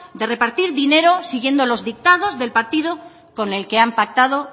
de repartir dinero siguiendo los dictados del partido con el que han pactado